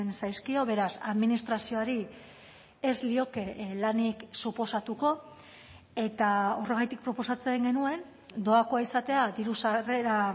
zaizkio beraz administrazioari ez lioke lanik suposatuko eta horregatik proposatzen genuen doakoa izatea diru sarrera